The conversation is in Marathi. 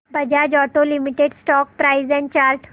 Bajaj auto limited stock price and chart